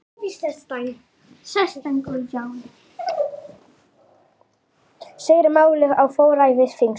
Segir málið á forræði þingsins